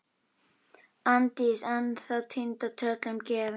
Arndís ennþá týnd og tröllum gefin.